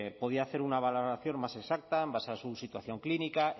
podría hacer una valoración más exacta en base a su situación clínica